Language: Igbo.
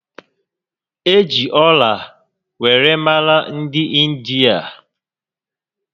E ji ọla were mara dị India